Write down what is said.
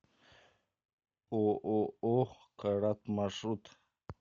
ооо карат маршрут